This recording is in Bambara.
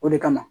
O de kama